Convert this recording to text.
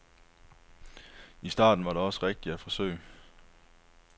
I starten var det også rigtigt at forsøge.